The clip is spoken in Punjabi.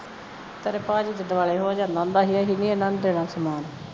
ਤੇਰੇ ਭਾਜੀ ਦੇ ਦਵਾਲੇ ਹੋ ਜਾਂਦਾ ਹੁੰਦਾ ਸੀ ਕਿ ਅਸੀਂ ਨਹੀਂ ਇਹਨਾਂ ਨੂੰ ਦੇਣਾ ਸਾਮਾਨ